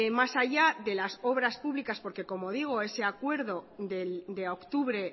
más allá de las obras públicas porque como digo ese acuerdo de octubre